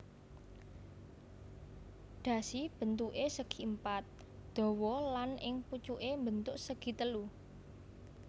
Dhasi bentuké segipapat dawa lan ing pucuké mbentuk segitelu